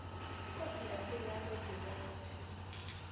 kua polaseng ya ga dibete